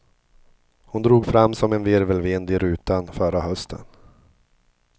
Hon drog fram som en virvelvind i rutan förra hösten.